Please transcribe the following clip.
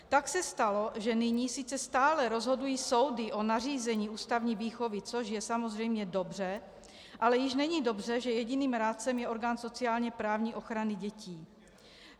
Tak se stalo, že nyní sice stále rozhodují soudy o nařízení ústavní výchovy, což je samozřejmě dobře, ale již není dobře, že jediným rádcem je orgán sociálně-právní ochrany dětí.